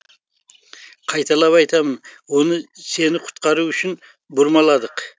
қайталап айтамын оны сені құтқару үшін бұрмаладық